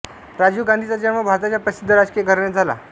राजीव गांधीचा जन्म भारताच्या प्रसिद्ध राजकीय घराण्यात झाला